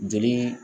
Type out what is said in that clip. Joli